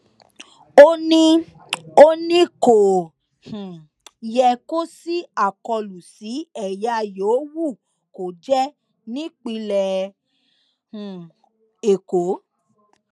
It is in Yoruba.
ó ní ó ní kò um yẹ kó ṣí àkọlù sí ẹyà yòówù kó jẹ nípínlẹ um èkó